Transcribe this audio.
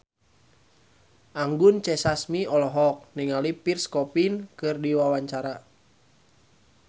Anggun C. Sasmi olohok ningali Pierre Coffin keur diwawancara